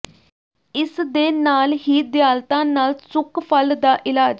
ਇਸ ਦੇ ਨਾਲ ਹੀ ਦਿਆਲਤਾ ਨਾਲ ਸੁੱਕ ਫਲ ਦਾ ਇਲਾਜ